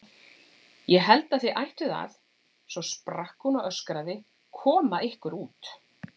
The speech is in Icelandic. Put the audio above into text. Ég held að þið ættuð að. svo sprakk hún og öskraði: KOMA YKKUR ÚT!